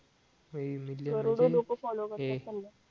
करोडो लोकं फॉलो करतात त्यांना